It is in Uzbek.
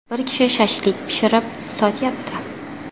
Bir kishi ‘shashlik’ pishirib sotyapti.